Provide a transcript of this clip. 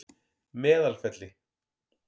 Meðalfelli